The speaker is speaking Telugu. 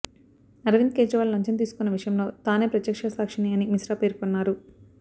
అరవింద్ కేజ్రీవాల్ లంచం తీసుకున్న విషయంలో తానే ప్రత్యక్ష సాక్షి అని మిశ్రా పేర్కొన్నారు